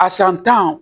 A san tan